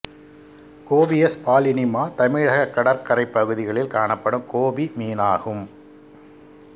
copious பாலினிமா தமிழகக் கடற்கரைப் பகுதிகளில் காணப்படும் கோபி மீனாகும்